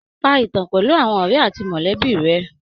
Pa ìtàn pẹ̀lú àwọn ọ̀rẹ àti mọ̀lẹ́bí rẹ.